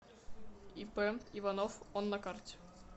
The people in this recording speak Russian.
ип иванов он на карте